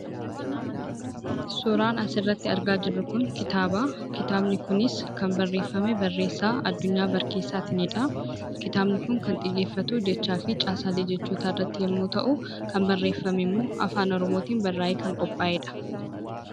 Suuraan asirratti argaa jirru kun kitaabaa. Kitaabni kunis kan barreeffame barreessaa Addunyaa Barkeessaatiinidha. Kitaabni kun kan xiyyeeffatu, jechaa fi caasaalee jechootaa irratti yommuu ta'u, kan barreeffame immoo afaan Oromootiin barraayee kan qophaayedha.